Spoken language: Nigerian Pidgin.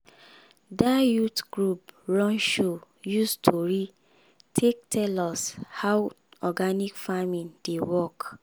that youth group run show use tori take tell us how organic farming dey work.